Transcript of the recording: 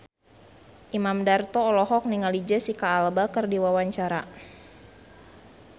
Imam Darto olohok ningali Jesicca Alba keur diwawancara